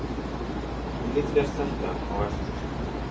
Ég get gert þetta á eftir.